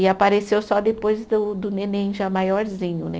E apareceu só depois do do neném já maiorzinho, né?